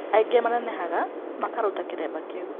Angĩ manenehaga makaruta kĩremba kĩu